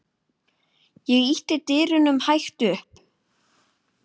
Ég ýtti dyrunum hægt upp.